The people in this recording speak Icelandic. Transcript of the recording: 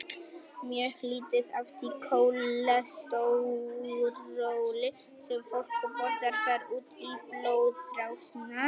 Mjög lítið af því kólesteróli sem fólk borðar fer út í blóðrásina.